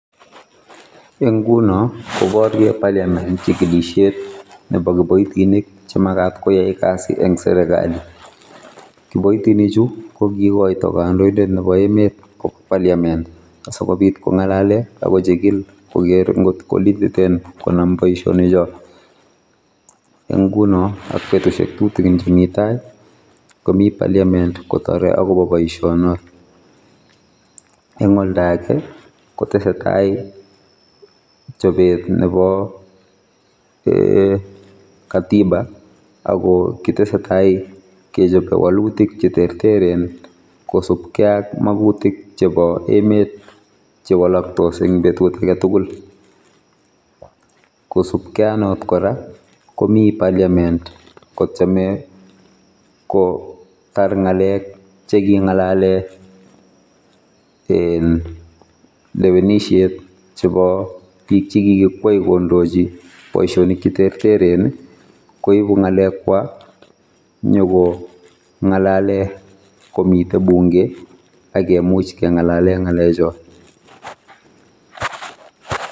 Eng nguno koborie parliament chigilisiet nebo kiboitinik chemagat koai kasi eng serekali. Kiboitinichu kogigoito kandoindet nebo emet kwa parliament asikobit kongalale akochigil kokeer ngotko lititen konam boisionichot. Eng nguno ak betusiek tutigin chemi tai komi [s] parliament kotore akobo boisionot. Eng oldoage kotesetai chobet nebo eeh katiba ako kitesetai kechobe walutik cheterteren kosub kei ak magutik chebo emet chewalaktose eng betut agetugul kosupkei aknot kora komi parliament kotyeme kotar ngalek chekingalale [iin] lewenisiet chebo biik chekikikwei kondochi boisionik cheterteren koibu ngalekwok nyiko ngalale komite bunge akemuch kengalale ngalechot.